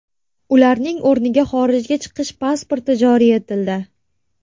Ularning o‘rniga xorijga chiqish pasporti joriy etildi.